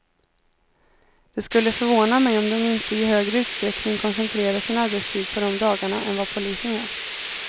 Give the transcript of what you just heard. Det skulle förvåna mig om de inte i högre utsträckning koncentrerar sin arbetstid på de dagarna än vad polisen gör.